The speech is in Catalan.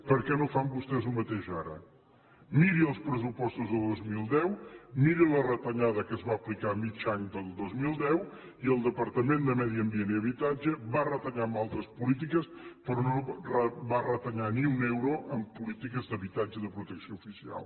per què no fan vostès el mateix ara miri els pressupostos del dos mil deu miri la retallada que es va aplicar a mig any del dos mil deu i el departament de medi ambient i habitatge va retallar en altres polítiques però no va retallar ni un euro en polítiques d’habitatge de protecció oficial